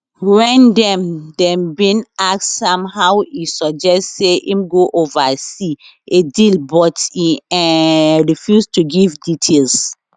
wen dem dem bin ask am how e suggest say im go oversee a deal but e um refuse to give details